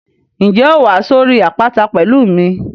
Ǹjẹ́ o óò wá sórí àpáta pẹ̀lú mi?